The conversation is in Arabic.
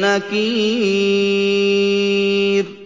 نَّكِيرٍ